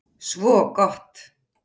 Svo gott!